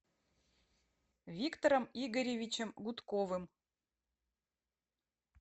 виктором игоревичем гудковым